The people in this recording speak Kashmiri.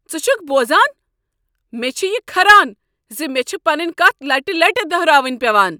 ژٕ چھکہٕ بوزان؟ مےٚ چھ یہ کھران ز مےٚ چھےٚ پنٕنۍ کتھ لٹہ لٹہ دہراوٕنۍ پٮ۪وان۔